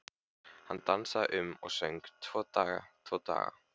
Hann dansaði um og söng: Tvo daga, tvo daga